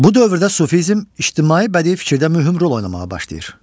Bu dövrdə sufizm ictimai bədii fikirdə mühüm rol oynamağa başlayır.